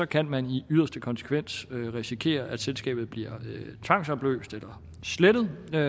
kan man i yderste konsekvens risikere at selskabet bliver tvangsopløst eller slettet og